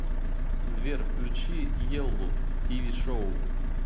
сбер включи еллу ти ви шоу